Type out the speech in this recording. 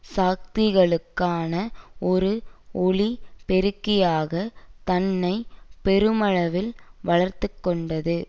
சக்திகளுக்கான ஒரு ஒலி பெருக்கியாக தன்னை பெருமளவில் வளர்த்துக்கொண்டது